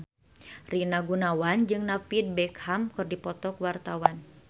Rina Gunawan jeung David Beckham keur dipoto ku wartawan